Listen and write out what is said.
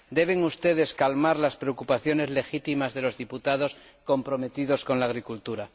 Deben ustedes calmar las preocupaciones legítimas de los diputados comprometidos con la agricultura.